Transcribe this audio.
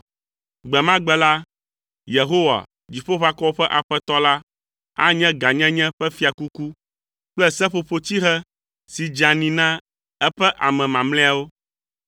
Gbe ma gbe la, Yehowa, Dziƒoʋakɔwo ƒe Aƒetɔ la, anye gãnyenye ƒe fiakuku kple seƒoƒotsihe si dzeani na eƒe ame mamlɛawo.